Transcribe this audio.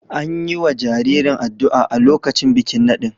An yi wa jaririn addu’a a lokacin bikin nadin.